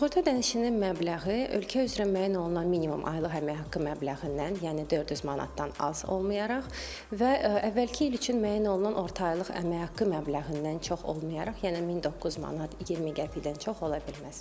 Sığorta ödənişinin məbləği ölkə üzrə müəyyən olunan minimum aylıq əmək haqqı məbləğindən, yəni 400 manatdan az olmayaraq və əvvəlki il üçün müəyyən olunan orta aylıq əmək haqqı məbləğindən çox olmayaraq, yəni 1009 manat 20 qəpikdən çox ola bilməz.